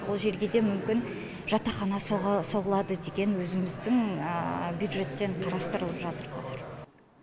ол жерге де мүмкін жатақхана соғылады деген өзіміздің бюджеттен қарастырылып жатыр қазір